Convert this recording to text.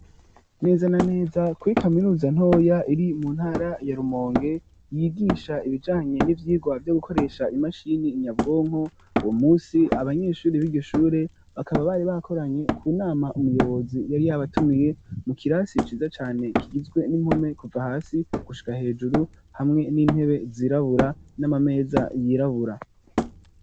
Neza na neza kuri kaminuza ntoya iri mu ntara ya Rumonge yigisha ibijanye n'ivyirwa vyo gukoresha imashini nyabwonko uwo munsi abanyeshuri biryo shure bakaba bari bakoranye ku nama umuyobozi yari yabatumiye mu kirasi ciza cane kigizwe n'impome kuva hasi gushika hejuru hamwe n'intebe zirabura n'ama meza yirabura.